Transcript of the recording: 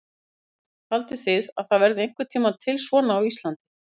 Hrund: Haldið þið að það verði einhvern tímann til svona á Íslandi?